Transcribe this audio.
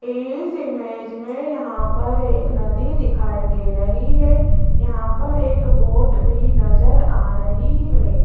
इस इमेज में यहां पर एक नदी दिखाई दे रही है यहां पर एक बोट भी नजर आ रही है।